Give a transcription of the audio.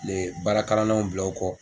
baarakalannaw bila u kɔ.